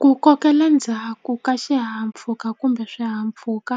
Ku kokela ndzhaku ka xihahampfuka kumbe swihahampfhuka